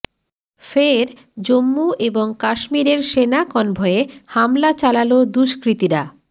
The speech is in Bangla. ফের জম্মু এবং কাশ্মীরের সেনা কনভয়ে হামলা চালালো দুষ্কৃতিরা